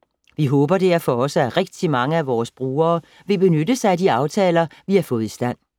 - Vi håber derfor også, at rigtig mange af vores brugere vil benytte sig af de aftaler, vi har fået i stand.